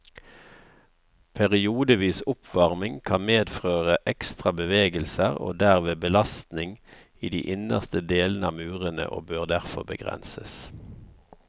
Periodevis oppvarming kan medføre ekstra bevegelser og derved belastning i de innerste delene av murene, og bør derfor begrenses.